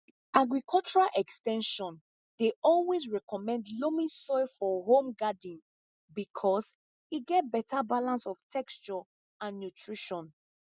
agricultural ex ten sion dey always recommend loamy soil for home garden because e get better balance of texture and nutrition